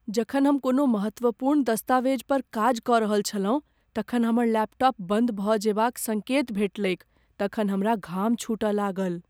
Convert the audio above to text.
जखन हम कोनो महत्वपूर्ण दस्तावेज पर काज कऽ रहल छलहुँ तखन हमर लैपटॉप बंद भऽ जयबाक संकेत भेटलैक तखन हमरा घाम छुटए लागल।